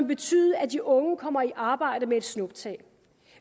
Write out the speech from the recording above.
betyde at de unge kommer i arbejde med et snuptag